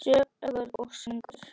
Sögur og söngur.